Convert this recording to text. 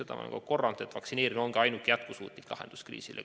Ma olen kogu aeg korranud, et vaktsineerimine on ainuke jätkusuutlik lahendus sellele kriisile.